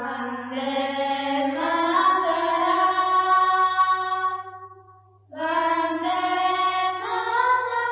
Vande Mataram Vande Mataram